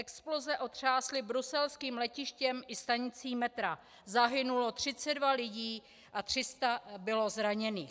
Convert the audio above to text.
Exploze otřásly bruselským letištěm i stanicí metra, zahynulo 32 lidí a 300 bylo zraněných.